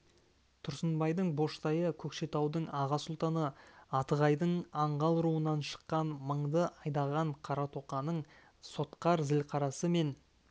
тұрсынбайдың боштайы көкшетаудың аға сұлтаны атығайдың аңғал руынан шыққан мыңды айдаған қаратоқаның сотқар зілқарасы мен